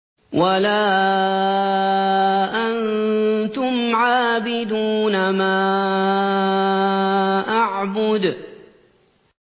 وَلَا أَنتُمْ عَابِدُونَ مَا أَعْبُدُ